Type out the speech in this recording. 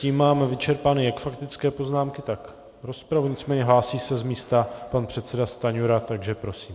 Tím máme vyčerpány jak faktické poznámky, tak rozpravu, nicméně hlásí se z místa pan předseda Stanjura, takže prosím.